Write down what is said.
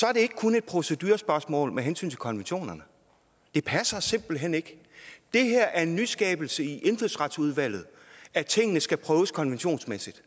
er det ikke kun et procedurespørgsmål med hensyn til konventionerne det passer simpelt hen ikke det er en nyskabelse i indfødsretsudvalget at tingene skal prøves konventionsmæssigt